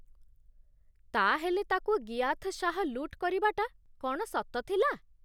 ତା'ହେଲେ ତା'କୁ ଗିୟାଥ ଶାହ ଲୁଟ୍ କରିବାଟା କ'ଣ ସତ ଥିଲା?